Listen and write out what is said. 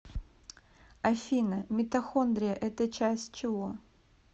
афина митохондрия это часть чего